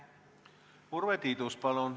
Urve Tiidus, palun!